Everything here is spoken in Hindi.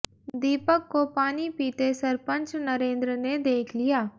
दीपक को पानी पीते सरपंच नरेंद्र ने देख लिया